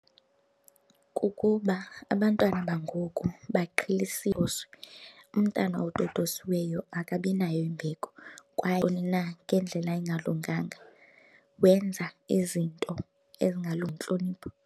Kukuba abantwana bangoku baqhelisiwe. Umntana ototosiweyo akabi nayo imbeko kwaye ngendlela engalunganga wenza izinto ntlonipho.